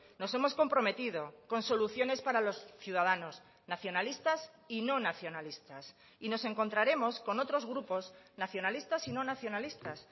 nos hemos comprometido con soluciones para los ciudadanos nacionalistas y no nacionalistas y nos encontraremos con otros grupos nacionalistas y no nacionalistas